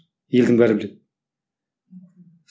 елдің бәрі біледі